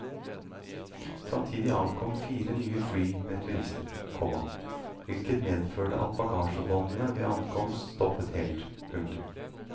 Samtidig ankom fire nye fly med turister, komma hvilket medførte at bagasjebåndene ved ankomst stoppet helt. punktum